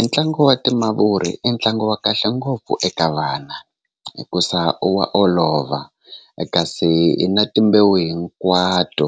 Entlangu wa timavuri i ntlangu wa kahle ngopfu eka vana hikusa u wa olova kasi i na timbewu hinkwato